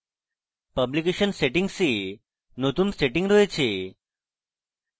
publication settings a নতুন setting রয়েছে